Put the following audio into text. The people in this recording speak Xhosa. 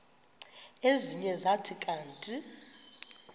ezinye zathi kanti